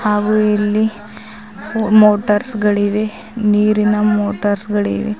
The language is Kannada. ಹಾಗೂ ಇಲ್ಲಿ ಮೋಟಾರ್ಸ್ ಗಳಿವೆ ನೀರಿನ ಮೋಟಾರ್ಸ್ ಗಳಿವೆ.